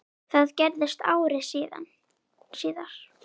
Það gerðist ári síðar.